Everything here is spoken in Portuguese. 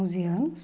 onze anos,